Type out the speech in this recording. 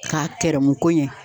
K'a kɛrɛmu ko ɲɛ